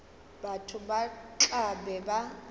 batho ba tla be ba